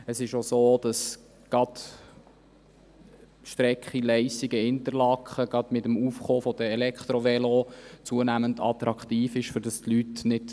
Es ist auch so, dass gerade die Strecke LeissigenInterlaken mit dem Aufkommen der Elektrovelos zunehmend attraktiv geworden ist.